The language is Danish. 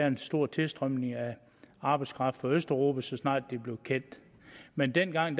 en stor tilstrømning af arbejdskraft fra østeuropa så snart det blev kendt men dengang